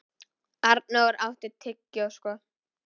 Arnór átti tyggjó, sko.